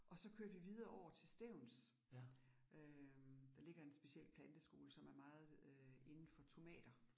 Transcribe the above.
Og så kørte vi videre over til Stevns. Øh der ligger en speciel planteskole, som er meget øh indenfor tomater